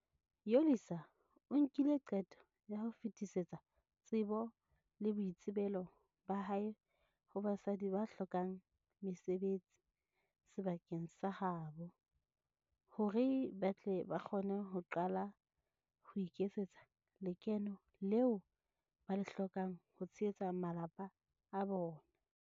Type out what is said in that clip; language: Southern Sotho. Yolisa o nkile qeto ya ho fetisetsa tsebo le boitsebelo ba hae ho basadi ba hlokang mesebetsi sebakeng sa ha bo, hore ba tle ba kgone ho qala ho iketsetsa lekeno leo ba le hlokang ho tshehetsa malapa a bona.